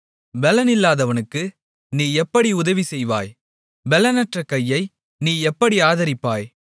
பெலனில்லாதவனுக்கு நீ எப்படி உதவிசெய்தாய் பெலனற்ற கையை நீ எப்படி ஆதரித்தாய்